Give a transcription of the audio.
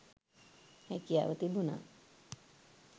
හැකියාව තිබුනා